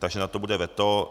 Takže na to bude veto.